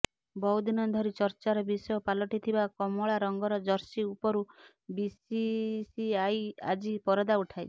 ବହୁ ଦିନ ଧରି ଚର୍ଚ୍ଚାର ବିଷୟ ପାଲଟିଥିବା କମଳା ରଙ୍ଗର ଜର୍ସି ଉପରୁ ବିସିସିଆଇ ଆଜି ପରଦା ଉଠାଇଛି